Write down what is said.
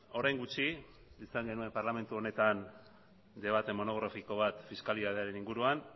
orain gutxi izan genuen parlamentu honetan debate monografiko bat fiskalitatearen inguruan